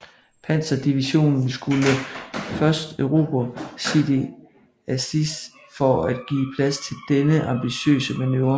Panzerdivision skulle først erobre Sidi Azeiz for at give plads til denne ambitiøse manøvre